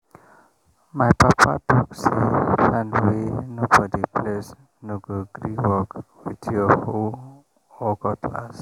my papa talk say land wey nobody bless no go gree work with your hoe or cutlass.